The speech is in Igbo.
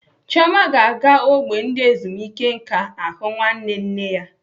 Chioma ga-aga ógbè ndị ezumike nká ahụ nwanne nne ya.